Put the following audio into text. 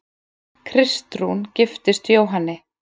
Kristrún giftist Jóhanni